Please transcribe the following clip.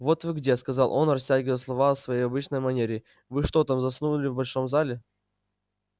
вот вы где сказал он растягивая слова в своей обычной манере вы что там заснули в большом зале